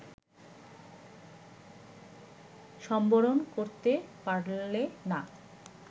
সম্বরণ করতে পারলে না